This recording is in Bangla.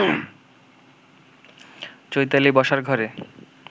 চৈতালি বসার ঘরে